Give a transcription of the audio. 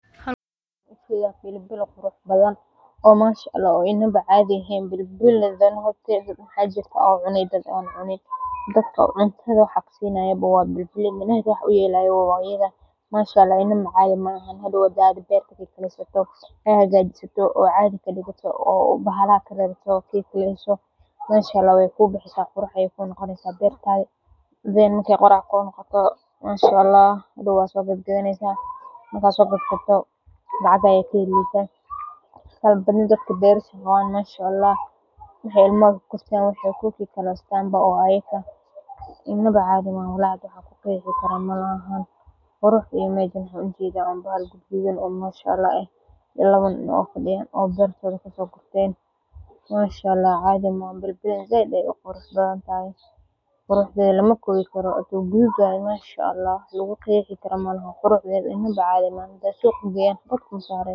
Halkan waa bili bili qurux badan, dadka waxaa cuntaada sinaya waa bili bili, inawa cadhi ma aha, beertaada qurux ayey ku noqoneysa inawa cadhi maaha lawa nin, manshaalah quruxdeda lamaso kowi karo inaba cadhi maaha.